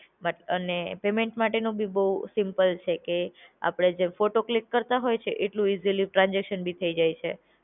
But અને payment માટેનો બી બૌ સિમ્પલ છે કે અપડે જેમ ફોટો ક્લિક કરતા હોય છે એટલું ઈઝીલી ટ્રાન્સઝેકશન બી થઇ જાય છે.